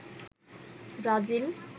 Brazil